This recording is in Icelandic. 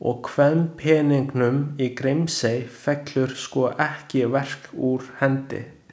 Og kvenpeningnum í Grímsey fellur sko ekki verk úr hendi.